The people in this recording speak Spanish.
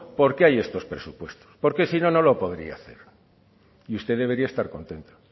porque hay estos presupuestos porque si no no lo podría hacer y usted debería estar contenta